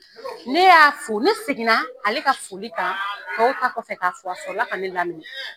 Ne y'a fo, ne seginna ale ka foli kan tow ta kɔfɛ kafo a sɔrɔ la ka laminɛ.